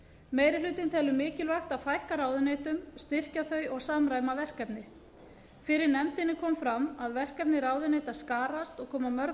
meiri hlutinn telur mikilvægt að fækka ráðuneytum styrkja þau og samræma verkefni fyrir nefndinni kom fram að verkefni ráðuneyta skarast og koma